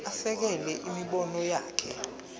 asekele imibono yakhe